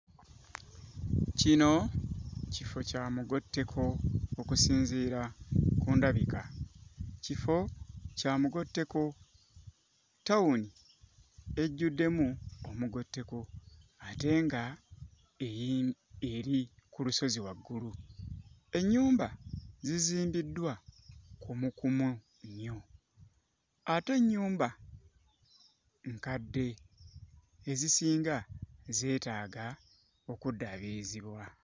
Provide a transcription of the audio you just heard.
Kino kifo kya mugotteko okusinziira ku ndabika kifo kya mugotteko ttawuni ejjuddemu omugotteko ate nga eri eri ku lusozi waggulu. Ennyumba zizimbiddwa kumukumu nnyo ate ennyumba nkadde ezisinga zeetaaga okuddaabirizibwa.